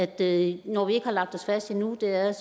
det når vi ikke har lagt os fast endnu er